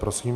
Prosím.